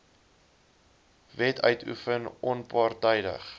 wet uitoefen onpartydig